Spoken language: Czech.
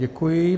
Děkuji.